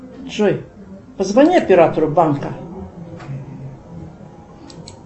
джой позвони оператору банка